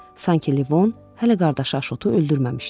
Sanki Levon hələ qardaşı Aşotu öldürməmişdi.